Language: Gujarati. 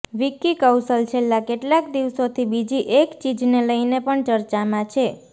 વિક્કી કૌશલ છેલ્લા કેટલાક દિવસોથી બીજી એક ચીજને લઇને પણ ચર્ચામાં છે